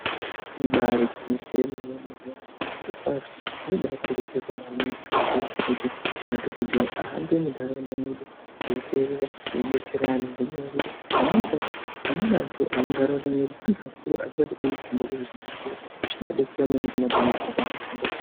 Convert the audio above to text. Ibari gwinyiso yomene mene zvirokwazvo zvinobakurudzirwa maningi kakurutu kuti madhokodheya ahambe munharaunda mwedu eiterera eidetsera antu ngenyaya yekuti ngenyaya yekuti pamweni pacho amweni antu emuntaraunda medu antu akuru asingachakoni kuhamba kuenda kuzvibhedhlera zvinoadetsera maningi madhokodheya paanohamba.